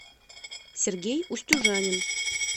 сергей устюжанин